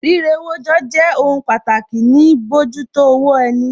Rírewójọ jẹ́ jẹ́ ohun pàtàkì ní bíojútó owó ẹni